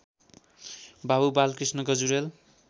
Babu Balkrishna Gajurel